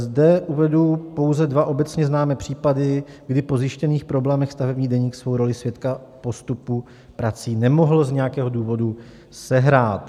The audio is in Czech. Zde uvedu pouze dva obecně známé případy, kdy po zjištěných problémech stavební deník svou roli svědka postupu prací nemohl z nějakého důvodu sehrát.